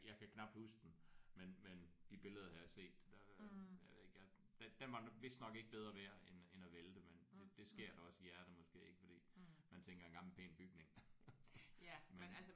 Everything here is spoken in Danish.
Jeg kan knapt huske den men men de billeder har jeg set. Den jeg ved ikke den den var vist nok ikke bedre værd end end at vælte men det skærer da også i hjertet måske ik fordi man tænker en gammel pæn bygning